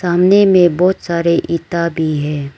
सामने में बहुत सारे इंटा भी है।